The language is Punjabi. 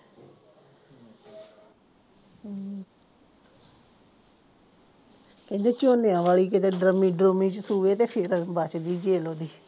ਕਹਿੰਦੇ ਝੋਨਿਆਂ ਵਾਲੀ ਕੀਤੇ ਡਰੰਮੀ ਡਰੂੰਮੀ ਚ ਸੂਏ ਤੇ ਤੇ ਫੇਰ ਬੱਚ ਗਈ ਜੇਲ ਉਹ ਦੀ